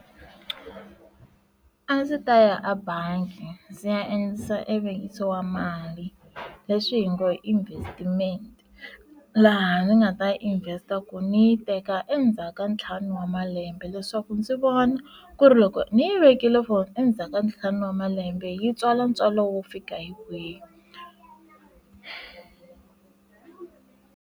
A ndzi ta ya a bangi ndzi ya endlisa evuvekisi wa mali leswi hi ngo hi investimente laha ndzi nga ta yi invest-a ku ni yi teka endzhaku ka ntlhanu wa malembe leswaku ndzi vona ku ri loko ni yi vekile for endzhaku ka ntlhanu wa malembe yi tswala ntswalo wo fika hi kwihi.